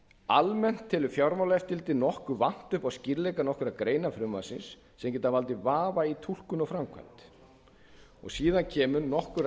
almennt telur fjármálaeftirlitið nokkuð vanta upp á skýrleika nokkurra greina frumvarpsins sem geta valdið vafa í túlkun og framkvæmd síðan koma nokkurra